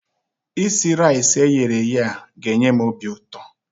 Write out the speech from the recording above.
Isi raisi eyere eye a ga-enye m obi ụtọ.